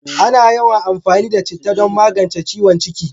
Ana yawan amfani da citta don magance ciwon ciki